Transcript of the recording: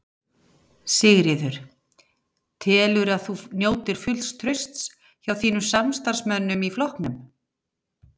Sigríður: Telurðu að þú njótir fulls trausts hjá þínum samstarfsmönnum í flokknum?